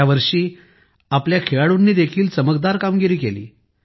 या वर्षी आमच्या खेळाडूंनीही चमकदार कामगिरी केली